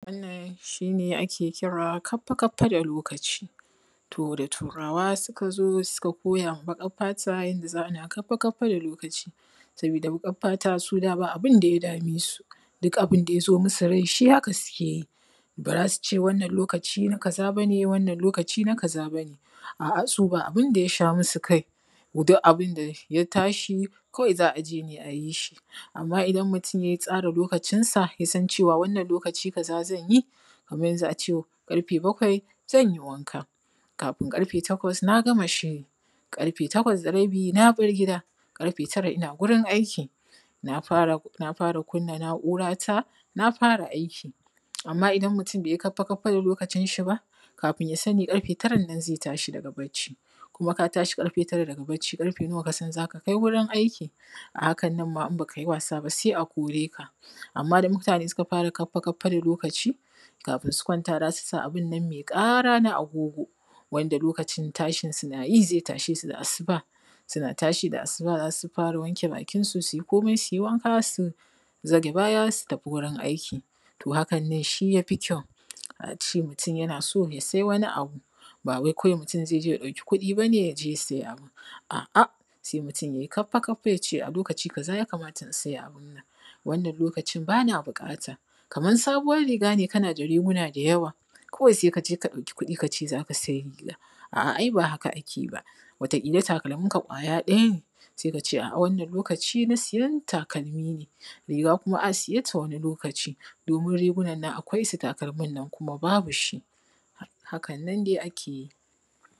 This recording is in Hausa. wannan shine ake kira kaffa kaffa da lokaci to da turawa su ka zo suka koyawa baƙar fata yadda za kaffa kaffa da lokaci saboda baƙar fata su da ba abin da ya da me su duk abin da ya zo musu rai shi haka su ke yi ba za su ce wannan lokaci na kazaa bane wannan lokaci naka za bane a’a su ba abin da ya sha musu kai duk abin da ya tashi kawai za a je ne ayi shi amma idan mutum ya tsara lokacin sa ya san cewa wannan lokaci kaza zanyi kamar yanzu a ce ƙarfe bakwai zanyi wanka kafin ƙarfe takwas na gama shiri ƙarfe takwas da rabi na bar gida ƙarfe tara ina gurin aiki na fara na fara kun na na’ura ta na fara aiki amma idan mutum bai yi kaffa kaffa da lokacinshi ba kafin ya sani ƙarfe taran nan zai tashi daga barci kuma ka tashi ƙarfe tara daga barci ƙarfe nawa ka san za ka kai gurin aiki a hakan nan ma hin baka yi wasa ba sai a koreka amma da mutane su ka fara kaffa kaffa da lokaci kafin su kwanta za su sa abun nan mai ƙara na agogo wanda lokacin tashin su na yi zai tashe su da asuba suna tashi da asuba za su fara wanke bakinsu su yi komai su yi wanka su zage baya su tafi gurin aiki to hakan ne shi ya fi kyau a ce mutum yana so ya sayi wani abu ba wai kawai mutum zai je ya ɗauki kuɗi ba ne yaje ya siya abu a’a sai mutum ya kaffa kaffa ya ce a lokaci kaza ya kamata in sai abun nan wannan lokacin ba na buƙata. kamar sabuwan riga ne kana da riguna da yawa kawai sai ka je ka ɗauki kuɗi ka ce za ka sai riga a’a ai ba haka ake yi ba wata ƙila takalminka kwaya ɗaya ne sai kace a’a wannan lokaci na siyan takalmi ne riga kuma a siye ta wani lokaci domin rigunan nan akwai su takalmin nan kuma babu shi hakan nan dai ake yi